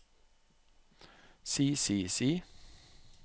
si si si